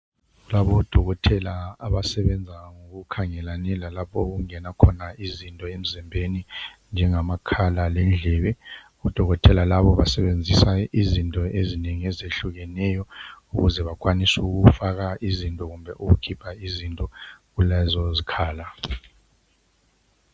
Kulabodokotela abasebenza ngokukhangelane lalapho okungena khona izinto emzimbeni, njengamakhala lendlebe. Odokotela labo basebenzisa izinto ezinengi ezehlukeneyo ukuze bakwanise ukufaka izinto kumbe ukukhipha izinto kulezozikhala.